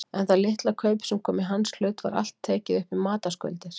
En það litla kaup sem kom í hans hlut var allt tekið upp í matarskuldir.